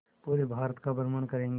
पूरे भारत का भ्रमण करेंगे